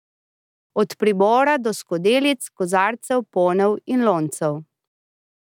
Od pribora do skodelic, kozarcev, ponev in loncev.